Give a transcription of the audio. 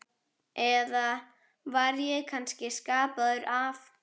Eða var ég kannski skapaður af